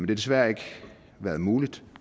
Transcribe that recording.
desværre ikke været muligt